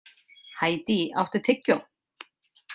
Hædý, áttu tyggjó?